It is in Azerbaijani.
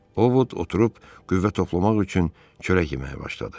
Ovod oturub qüvvə toplamaq üçün çörək yeməyə başladı.